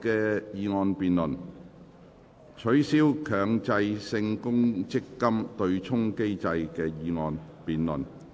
"取消強制性公積金對沖機制"的議案辯論。